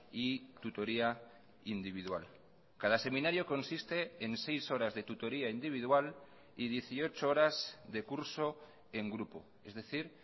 y tutoría individual cada seminario consiste en seis horas de tutoría individual y dieciocho horas de curso en grupo es decir